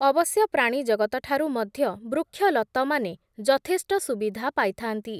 ଅବଶ୍ୟ ପ୍ରାଣୀ ଜଗତଠାରୁ ମଧ୍ୟ, ବୃକ୍ଷଲତମାନେ ଯଥେଷ୍ଟ ସୁବିଧା ପାଇଥା’ନ୍ତି ।